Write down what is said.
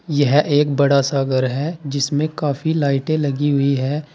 यह एक बड़ा सा घर है जिसमे काफी लाइटे लगी हुई है।